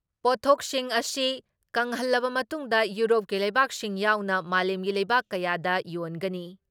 ꯄꯣꯠꯊꯣꯛꯁꯤꯡ ꯑꯁꯤ ꯀꯪꯍꯜꯂꯕ ꯃꯇꯨꯡꯗ ꯌꯨꯔꯣꯞꯀꯤ ꯂꯩꯕꯥꯛꯁꯤꯡ ꯌꯥꯎꯅ ꯃꯥꯂꯦꯝꯒꯤ ꯂꯩꯕꯥꯛ ꯀꯌꯥꯗ ꯌꯣꯟꯒꯅꯤ ꯫